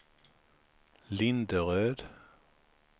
Linderöd